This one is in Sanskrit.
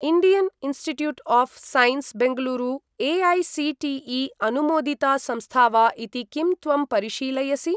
Indian institute of science, Bengaluru AICTE. अनुमोदिता संस्था वा इति किं त्वं परिशीलयसि?